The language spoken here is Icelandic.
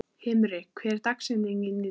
Himri, hver er dagsetningin í dag?